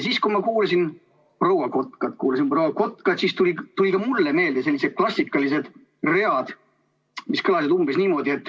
Kui ma kuulasin proua Kotkat, siis tulid ka mulle meelde sellised klassikalised read, mis kõlasid umbes niimoodi.